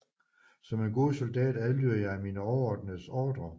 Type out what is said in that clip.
Som en god soldat adlyder jeg mine overordnedes ordrer